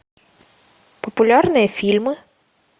популярные фильмы